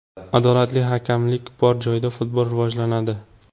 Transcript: Adolatli hakamlik bor joyda futbol rivojlanadi.